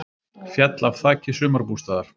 Féll af þaki sumarbústaðar